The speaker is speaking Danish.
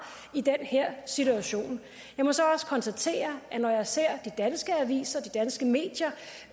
i den her situation jeg må så også konstatere at når jeg ser de danske aviser de danske medier